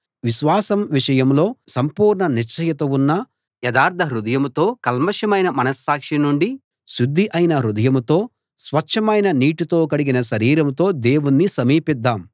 విశ్వాసం విషయంలో సంపూర్ణ నిశ్చయత ఉన్న యథార్ధ హృదయంతో కల్మషమైన మనస్సాక్షి నుండి శుద్ధి అయిన హృదయంతో స్వచ్ఛమైన నీటితో కడిగిన శరీరంతో దేవుణ్ణి సమీపిద్దాం